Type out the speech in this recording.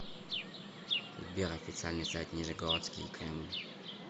сбер официальный сайт нижегородский кремль